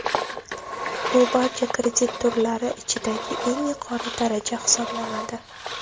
Bu barcha kredit turlari ichida eng yuqori daraja hisoblanadi.